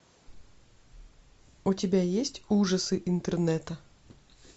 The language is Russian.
у тебя есть ужасы интернета